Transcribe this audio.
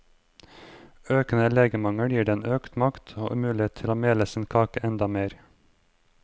Økende legemangel gir den økt makt og mulighet til å mele sin kake enda mer.